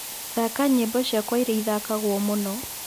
thaka nyĩmbo cĩakwa ĩrĩa ĩthakagwo mũno